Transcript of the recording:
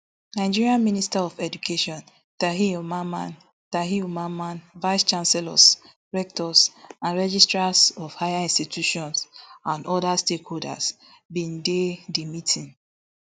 nigeria minister of education tahir mamman tahir mamman vicechancellors rectors and registrars of higher institutions and oda stakeholders bin dey di meeting